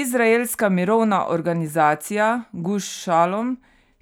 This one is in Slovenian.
Izraelska mirovna organizacija Guš Šalom,